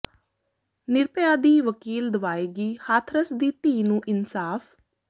ਨਿਰਭਯਾ ਦੀ ਵਕੀਲ ਦਿਵਾਏਗੀ ਹਾਥਰਸ ਦੀ ਧੀ ਨੂੰ ਇਨਸਾਫ਼